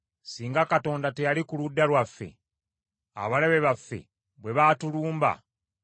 singa Katonda teyali ku ludda lwaffe abalabe baffe bwe baatulumba,